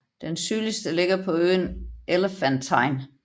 Den sydligste ligger på øen Elefantine